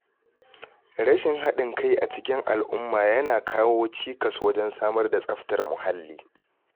Rashin haɗin kai a cikin al’umma yana kawo cikas wajen samar da tsaftar muhalli.